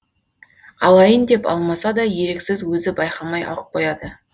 алайын деп алмаса да еріксіз өзі байқамай алып қояды